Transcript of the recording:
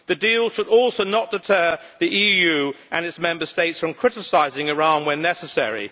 The deal should also not deter the EU and its Member States from criticising Iran where necessary.